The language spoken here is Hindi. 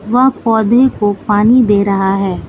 वह पौधे को पानी दे रहा है।